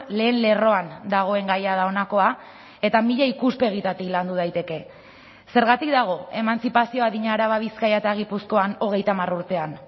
lehen lerroan dagoen gaia da honakoa eta mila ikuspegitatik landu daiteke zergatik dago emantzipazio adina araba bizkaia eta gipuzkoan hogeita hamar urtean